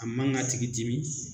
A man k'a tigi dimi